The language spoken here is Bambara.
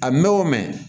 A mɛ o mɛn